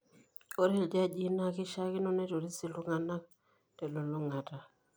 Ore iljajii naa keishiakino neitoris iltung'anak telulung'ata.